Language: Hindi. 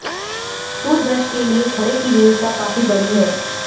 टूथब्रश के लिए खड़े की विविधता काफी बड़ी है